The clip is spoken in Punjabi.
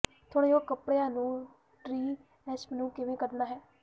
ਧੋਣਯੋਗ ਕਪੜਿਆਂ ਤੋਂ ਟ੍ਰੀ ਐਸਪ ਨੂੰ ਕਿਵੇਂ ਕੱਢਣਾ ਹੈ